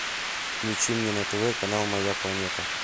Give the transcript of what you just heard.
включи мне на тв канал моя планета